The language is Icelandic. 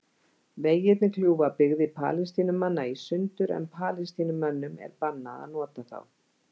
Vegirnir kljúfa byggðir Palestínumanna í sundur en Palestínumönnum er bannað að nota þá.